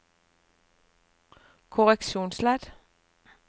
korreksjonsledd